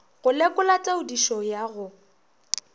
go lekola taodišo ya go